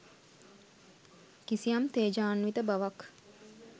කිසියම් තේජාන්විත බවක්